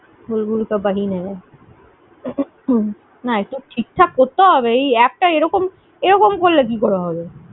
बुलबुल का बहिन आया না এটা ঠিক ঠাক করতে হবে। এই app টা এরকম করলে কি করে হবে?